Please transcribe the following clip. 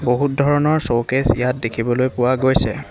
বহুত ধৰনৰ শ্ব'কেছ ইয়াত দেখিবলৈ পোৱা গৈছে।